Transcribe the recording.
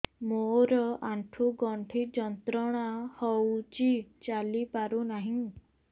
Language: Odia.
ମୋରୋ ଆଣ୍ଠୁଗଣ୍ଠି ଯନ୍ତ୍ରଣା ହଉଚି ଚାଲିପାରୁନାହିଁ